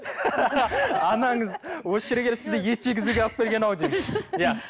анаңыз осы жерге келіп сізді ет жегізуге алып келген ау деймін иә